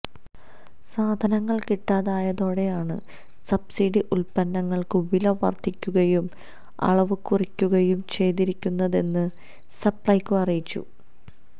സാധനങ്ങള് കിട്ടാതായതോടെയാണ് സബ്സിഡി ഉല്പന്നങ്ങള്ക്ക് വില വര്ധിപ്പിക്കുകയും അളവ് കുറയ്ക്കുകയും ചെയ്തിരിക്കുന്നതെന്ന് സപ്ലൈകോ അറിയിച്ചു